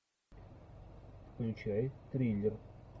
включай триллер